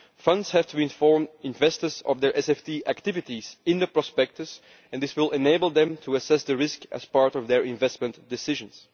Funds have to inform investors of their SFT activities in the prospectus, and this will enable them to assess the risk as part of their investment decisions.